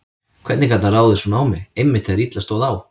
Hvernig gat hann ráðist svona á mig, einmitt þegar illa stóð á?